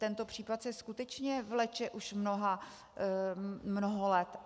Tento případ se skutečně vleče už mnoho let.